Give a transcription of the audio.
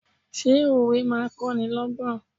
Ṣé òwe máa ń kó ni lọ́gbọ́n?